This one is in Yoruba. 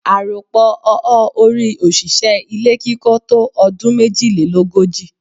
Àròpọ̀ ọọ́-orí òṣìṣẹ́ ilé kíkọ́ tó ọdún méjìlélógojì.